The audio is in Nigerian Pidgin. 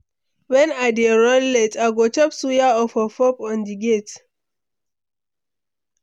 When I dey run late, I go chop suya or puff-puff on-the-go.